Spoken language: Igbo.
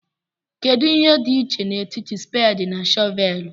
Kedu ihe dị iche n'etiti spedi na shọvelu?